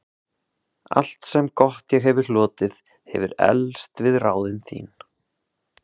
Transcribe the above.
Allt, sem gott ég hefi hlotið, hefir eflst við ráðin þín.